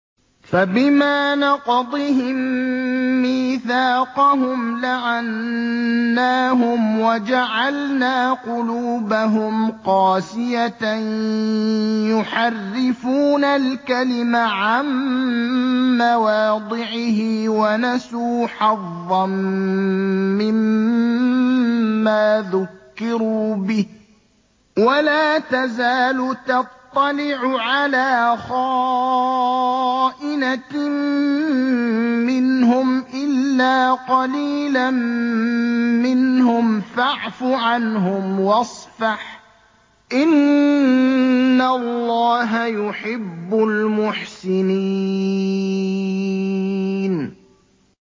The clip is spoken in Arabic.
فَبِمَا نَقْضِهِم مِّيثَاقَهُمْ لَعَنَّاهُمْ وَجَعَلْنَا قُلُوبَهُمْ قَاسِيَةً ۖ يُحَرِّفُونَ الْكَلِمَ عَن مَّوَاضِعِهِ ۙ وَنَسُوا حَظًّا مِّمَّا ذُكِّرُوا بِهِ ۚ وَلَا تَزَالُ تَطَّلِعُ عَلَىٰ خَائِنَةٍ مِّنْهُمْ إِلَّا قَلِيلًا مِّنْهُمْ ۖ فَاعْفُ عَنْهُمْ وَاصْفَحْ ۚ إِنَّ اللَّهَ يُحِبُّ الْمُحْسِنِينَ